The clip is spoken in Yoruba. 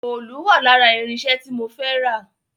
Òòlù wà lára irinṣẹ́ tí mo fẹ́ rà